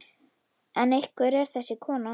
En hver er þessi kona?